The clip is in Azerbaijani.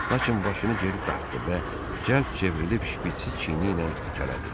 Lakin başını geri dartdı və cəld çevrilib şpitsi çiyni ilə itələdi.